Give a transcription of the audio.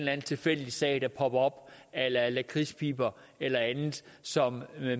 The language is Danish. anden tilfældig sag der popper op a la lakridspiber eller andet som